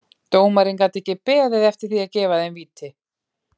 Dómarinn gat ekki beðið eftir því að gefa þeim víti.